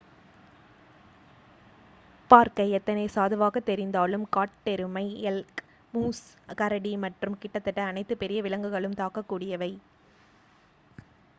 பார்க்க எத்தனை சாதுவாக தெரிந்தாலும் காட்டெருமை எல்க் மூஸ் கரடி மற்றும் கிட்டத்தட்ட அனைத்து பெரிய விலங்குகளும் தாக்கக் கூடியவை